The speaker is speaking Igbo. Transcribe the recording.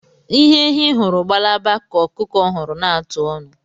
Ihe ehi hụrụ gbalaba oso ka okuku huru na-atụ onu